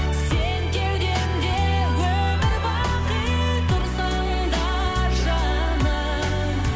сен кеудемде өмір бақи тұрсаң да жаным